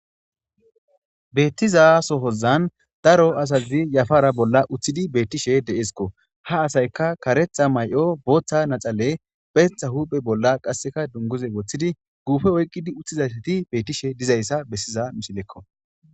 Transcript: Beettiza sohozan daro asazi yafara bolla uththidi beettishe de7esikko ha asayka karetha may7o booththa naxale pheetha huuphe bolla qasseka dunguze woththidi guufe oyqqidi uththizayati beettishe dizayssa bessiza misilekko.